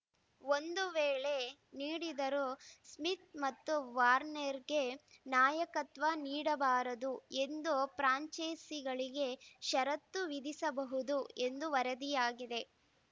ಒಂದು ವೇಳೆ ನೀಡಿದರೂ ಸ್ಮಿತ್‌ ಮತ್ತು ವಾರ್ನರ್‌ಗೆ ನಾಯಕತ್ವ ನೀಡಬಾರದು ಎಂದು ಫ್ರಾಂಚೈಸಿಗಳಿಗೆ ಷರತ್ತು ವಿಧಿಸಬಹುದು ಎಂದು ವರದಿಯಾಗಿದೆ